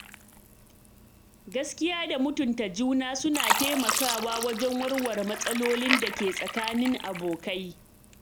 Gaskiya da mutunta juna suna taimakawa wajen warware matsalolin dake tsakanin abokai.